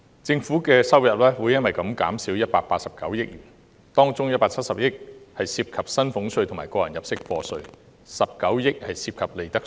政府收入將因而減少189億元，當中170億元涉及薪俸稅和個人入息課稅 ，19 億元涉及利得稅。